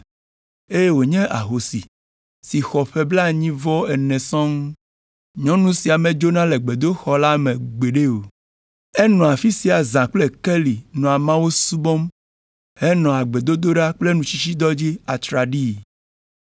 eye wònye ahosi si xɔ ƒe blaenyi-vɔ-ene sɔŋ. Nyɔnu sia medzona le gbedoxɔ la me gbeɖe o. Enɔa afi sia zã kple keli nɔa Mawu subɔm henɔa gbedodoɖa kple nutsitsidɔ dzi atraɖii.